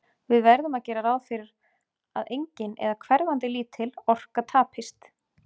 Við verðum að gera ráð fyrir að engin, eða hverfandi lítil, orka tapist.